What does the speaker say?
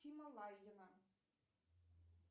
тима лайгина